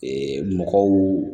mɔgɔw